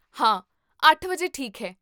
ਹਾਂ, ਅੱਠ ਵਜੇ ਠੀਕ ਹੈ